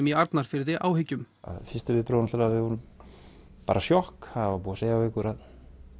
í Arnarfirði áhyggjum fyrstu viðbrögðin voru bara sjokk það var búið að segja við okkur að